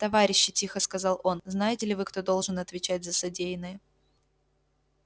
товарищи тихо сказал он знаете ли вы кто должен отвечать за содеянное